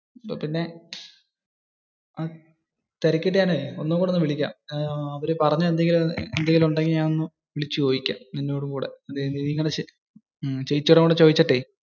പിന്നെ. തിരക്കിയിട്ടു ഞാനേ ഒന്നുംകൂടി വിളികാം. അവര് പറഞ്ഞത് എന്തെങ്കിലും ഉണ്ടെങ്കിലേ ഞാൻ വിളിച്ച ചോദിക്കാം ഒന്നുംകൂടി. ചേച്ചിയോടും കൂടി ചോയിച്ചിട്ടേ.